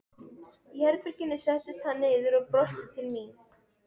Í herberginu settist hann niður og brosti til mín.